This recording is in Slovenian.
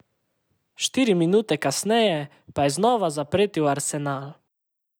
Štiri minute kasneje pa je znova zapretil Arsenal.